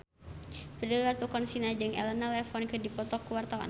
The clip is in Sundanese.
Prilly Latuconsina jeung Elena Levon keur dipoto ku wartawan